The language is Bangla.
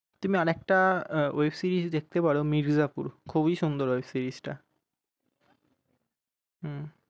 তুমি আর একটা web series দেখতে পারো মির্জাপুর। খুবই সুন্দর ওই series টা হম